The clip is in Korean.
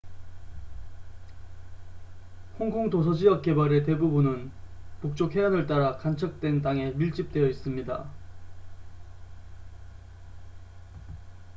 홍콩 도서지역 개발의 대부분은 북쪽 해안을 따라 간척된 땅에 밀집되어 있습니다